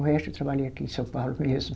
O resto eu trabalhei aqui em São Paulo mesmo.